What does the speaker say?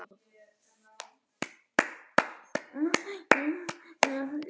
láta prestinn fá svona góðar móttökur.